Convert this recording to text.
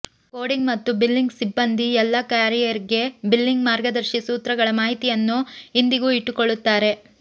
coding ಮತ್ತು billing ಸಿಬ್ಬಂದಿ ಎಲ್ಲ ಕ್ಯಾರಿಯರಿಗೆ ಬಿಲ್ಲಿಂಗ್ ಮಾರ್ಗದರ್ಶಿ ಸೂತ್ರಗಳ ಮಾಹಿತಿಯನ್ನು ಇಂದಿಗೂ ಇಟ್ಟುಕೊಳ್ಳುತ್ತಾರೆ